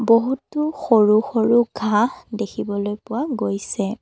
বহুতো সৰু সৰু ঘাঁহ দেখিবলৈ পোৱা গৈছে।